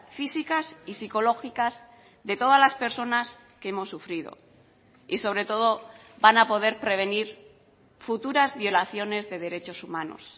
físicas y psicológicas de todas las personas que hemos sufrido y sobre todo van a poder prevenir futuras violaciones de derechos humanos